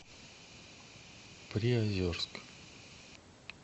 приозерск